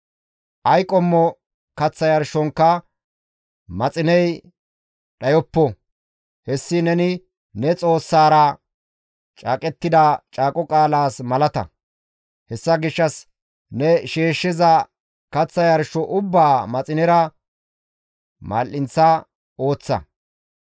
Ay qommo kaththa yarshonkka maxiney dhayoppo; hessi neni ne Xoossaara caaqettida caaqo qaalaas malata; hessa gishshas ne shiishshiza kaththa yarsho ubbaa maxinera mal7inththa ooththa.